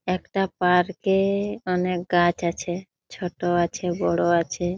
একটা পার্ক -এ অনেক গাছ আছে। ছোট আছে বড়ো আছে ।